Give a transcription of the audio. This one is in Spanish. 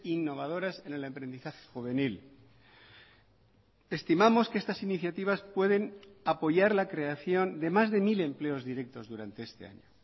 innovadoras en el emprendizaje juvenil estimamos que estas iniciativas pueden apoyar la creación de más de mil empleos directos durante este año